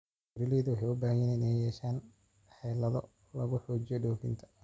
Beeralayda waxay u baahan yihiin inay yeeshaan xeelado lagu xoojiyo dhoofinta.